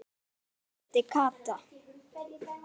vældi Kata.